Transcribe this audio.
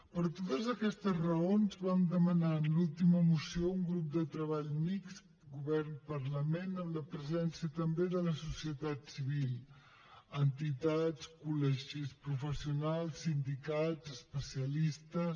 per totes aquestes raons vam demanar en l’última moció un grup de treball mixt govern parlament amb la presència també de la societat civil entitats col·legis professionals sindicats especialistes